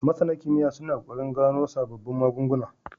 MasAna kimiya suna kokarin gano sababbun magun guna